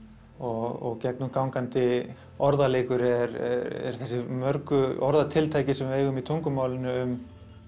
og gegnumgangandi orðaleikur eru þessi mörgu orðatiltæki sem við eigum í tungumálinu um